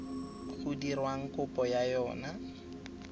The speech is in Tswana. go dirwang kopo ya yona